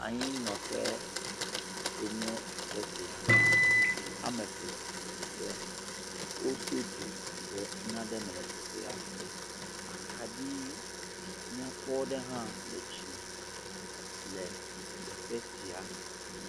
Anyinɔƒe enye teƒe sia, zikpui ame eve, wodo dzo le nane me le teƒea, akaɖi nyakpɔ aɖe hã le dzime le teƒe sia.